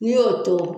N'i y'o to